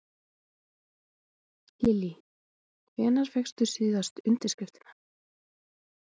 Lillý: Hvenær fékkstu síðustu undirskriftina?